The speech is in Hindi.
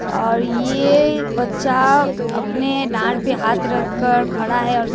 और ये बच्चा अपने दार पे हाथ रखकर खड़ा है और के--